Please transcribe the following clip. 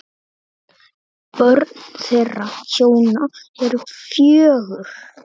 Börn þeirra hjóna eru fjögur.